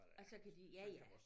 Og så kan de ja ja